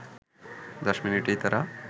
দশ মিনিটেই তারা